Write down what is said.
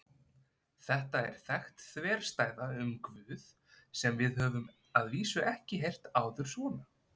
Þetta er þekkt þverstæða um Guð sem við höfum að vísu ekki heyrt áður svona.